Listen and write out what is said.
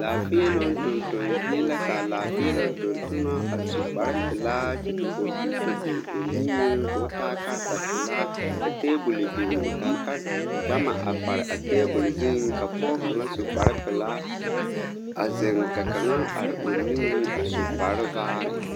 Laafēēloŋ tonton zie la kaa Laafēēloŋ tontonɔ a su kparepelaa kyɛ ka kɔmpiuta biŋ o niŋeŋ koo taa karetapelaa ka tabole biŋ a kare gama a pare a tabole zu zuŋ ka pɔɔ kaŋa su kparepelaa a zeŋ ka kaŋa are o niŋeŋ a su kparevaare.